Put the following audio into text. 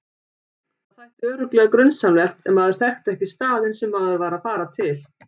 Það þætti örugglega grunsamlegt ef maður þekkti ekki staðinn sem maður var að fara til.